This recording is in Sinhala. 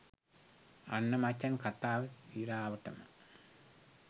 අන්න මචං කතාව සිරාවටම